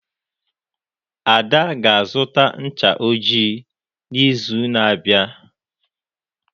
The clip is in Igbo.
Ada ga-azụta ncha ojii n'izu na-abịa.